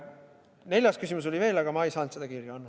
Neljas küsimus oli veel, aga ma ei saanud seda kirja pandud.